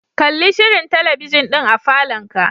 Kalli shirin talabijin din a falonka.